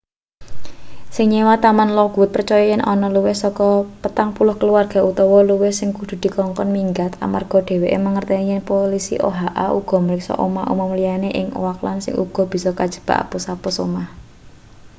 sing nyewa taman lockwood percaya yen ana luwih saka 40 kaluwarga utawa luwih sing kudu dikongkon minggat amarga dheweke mangerteni yen polisi oha uga mriksa omah umum liyane ning oakland sing uga bisa kajebak apus-apus omah